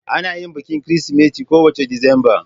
Ana yin bikin Kirsimeti kowace Disamba.